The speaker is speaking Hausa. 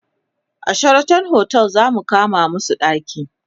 a Sheraton otel zamu kama masu ɗaki